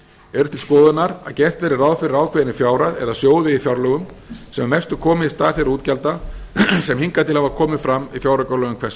er til skoðunar að gert verði ráð fyrir ákveðinni fjárhæð eða sjóði í fjárlögum sem að mestu komi í stað þeirra útgjalda sem hingað til hafa komið fram í fjáraukalögum hvers